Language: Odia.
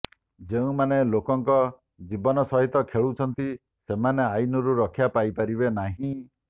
ଯେଉଁମାନେ ଲୋକଙ୍କ ଜୀବନ ସହିତ ଖେଳୁଛନ୍ତି ସେମାନେ ଆଇନରୁ ରକ୍ଷା ପାଇପାରିବେ ନାହିଁ